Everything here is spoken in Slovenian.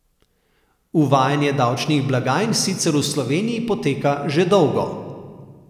Uvajanje davčnih blagajn sicer v Sloveniji poteka že dolgo.